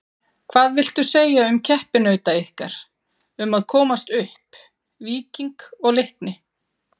Hvað viltu segja um keppinauta ykkar um að komast upp, Víking og Leikni?